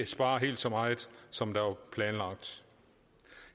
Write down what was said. spare helt så meget som der var planlagt